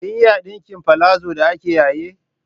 Kin iya ɗinka palazo da ake yayi?